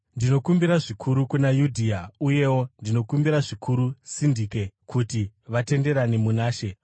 Ndinokumbira zvikuru kuna Yudhia uyewo ndinokumbira zvikuru Sindike kuti vatenderane muna She.